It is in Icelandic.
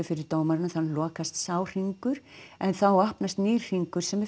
fyrir dómaranum þannig lokast sá hringur en þá opnast nýr hringur sem er